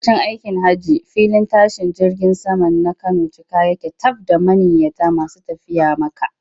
Lokacin aikin hajji filin tashin jirgin saman na Kano cika yake taf da manniyata masu tafiya Makka.